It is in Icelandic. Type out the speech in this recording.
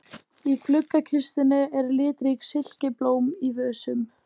Í gluggakistunni eru litrík silkiblóm í vösum.